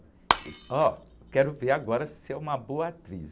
E, ó, quero ver agora se você é uma boa atriz.